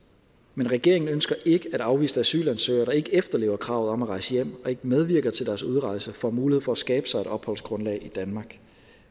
men regeringen ønsker ikke at afviste asylansøgere der ikke efterlever kravet om at rejse hjem og ikke medvirker til deres udrejse får mulighed for at skabe sig et opholdsgrundlag i danmark